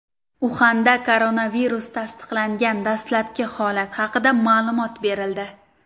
Uxanda koronavirus tasdiqlangan dastlabki holat haqida ma’lumot berildi.